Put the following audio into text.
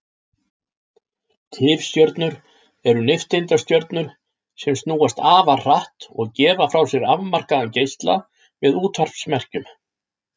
Tifstjörnur eru nifteindastjörnur sem snúast afar hratt og gefa frá sér afmarkaðan geisla með útvarpsmerkjum.